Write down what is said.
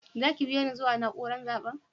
Za ki biyo ni zuwa naúrar zaben?